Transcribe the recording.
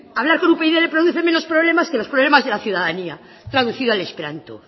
hablar con upyd le produce menos problemas que los problemas de la ciudadanía traducido al esperanto